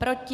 Proti?